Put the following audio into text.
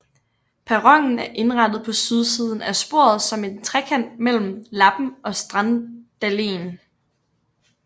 Perronen er indrettet på sydsiden af sporet som en trekant mellem Lappen og Strandalleen